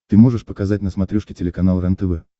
ты можешь показать на смотрешке телеканал рентв